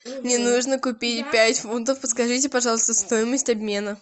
мне нужно купить пять фунтов подскажите пожалуйста стоимость обмена